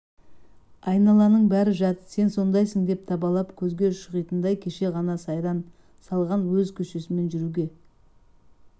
айналаның бәрі жат сен сондайсың деп табалап көзге шұқитындай кеше ғана сайран салған өз көшесімен жүруге